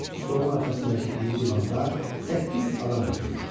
Stolun arxasındakı iri divanda səkkiz adam oturmuşdu.